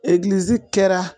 Egilisi kɛra